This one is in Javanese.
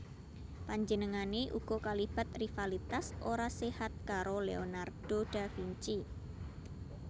Panjenengané uga kalibat rivalitas ora séhat karo Leonardo da Vinci